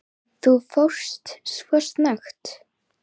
Þú fórst svo snöggt.